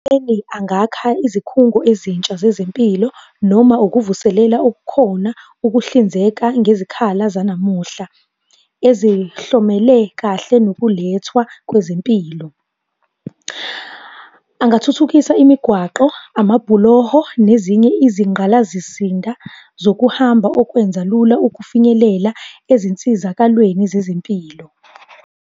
angakha izikhungo ezintsha zezempilo noma ukuvuselela okukhona ukuhlinzeka ngezikhala zanamuhla ezihlomele kahle nokulethwa kwezempilo. Angathuthukisa imigwaqo, amabhuloho nezinye izinqgalasizinda zokuhamba okwenza lula ukufinyelela ezinsizakalweni zezempilo.